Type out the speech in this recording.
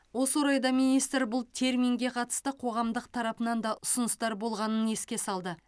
осы орайда министр бұл терминге қатысты қоғамдастық тарапынан да ұсыныстар болғанын еске салды